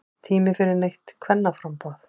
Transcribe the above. Tími fyrir nýtt kvennaframboð